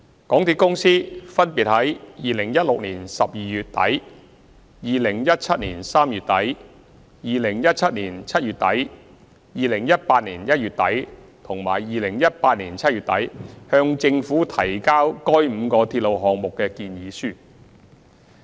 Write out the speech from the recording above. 港鐵公司分別於2016年12月底、2017年3月底、2017年7月底、2018年1月底和2018年7月底向政府提交該5個鐵路項目的建議書。